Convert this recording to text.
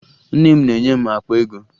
Nne m na-enye m akpa ego